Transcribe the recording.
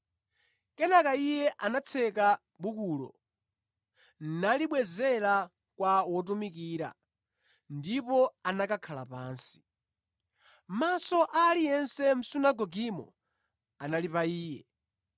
Kenaka Iye anatseka bukulo, nalibwezera kwa wotumikira ndipo anakakhala pansi. Maso a aliyense mʼsunagogemo anali pa Iye,